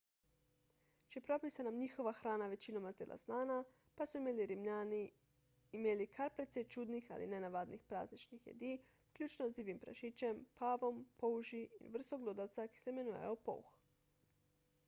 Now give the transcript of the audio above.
čeprav bi se nam njihova hrana večinoma zdela znana pa so imeli rimljani imeli kar precej čudnih ali nenavadnih prazničnih jedi vključno z divjim prašičem pavom polži in vrsto glodavca ki se imenuje polh